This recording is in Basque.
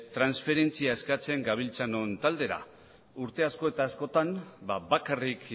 transferentzia eskatzen gabiltzanon taldera urte asko eta askotan bakarrik